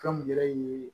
Kan gɛrɛ ye